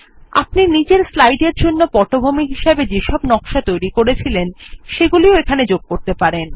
আপনি নিজের স্লাইড এর জন্য পটভূমি হিসাবে যেসব নকশা তৈরি করেছিলেন সেগুলিও এখানে যোগ করতে পারেন